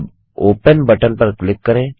अब open button पर click करें